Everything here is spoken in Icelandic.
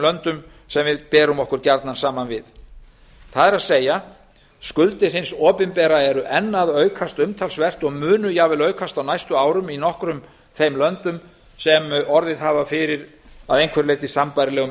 löndum sem við berum okkur gjarnan saman við það er skuldir hins opinbera eru enn að aukast umtalsvert og munu jafnvel aukast á næstu árum í nokkrum þeim löndum sem orðið hafa fyrir að einhverju leyti sambærilegum